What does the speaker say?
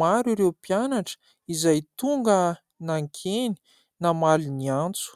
maro ireo mpianatra izay tonga nankeny namaly ny antso.